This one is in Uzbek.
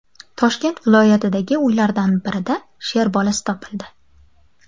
Toshkent viloyatidagi uylardan birida sher bolasi topildi .